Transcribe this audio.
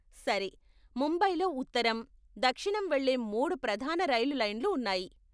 సరే, ముంబైలో ఉత్తరం, దక్షిణం వెళ్ళే మూడు ప్రధాన రైలు లైన్లు ఉన్నాయి.